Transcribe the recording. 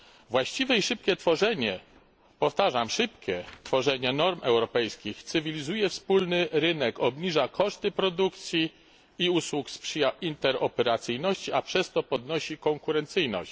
Właściwe i szybkie, powtarzam szybkie, określanie norm europejskich cywilizuje wspólny rynek, obniża koszty produkcji i usług, sprzyja interoperacyjności, a przez to podnosi konkurencyjność.